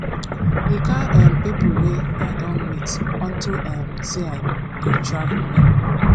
the kin um people wey i don meet unto um say i dey travel many